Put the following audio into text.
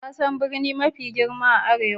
Ka san birni mafi girma a arewa?